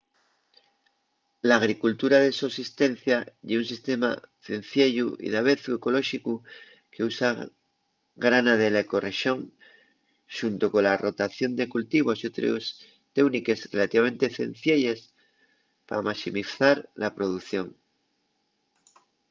l'agricultura de sosistencia ye un sistema cenciellu y davezu ecolóxicu qu’usa grana de la ecorrexón xunto cola rotación de cultivos y otres teúniques relativamente cencielles pa maximizar la producción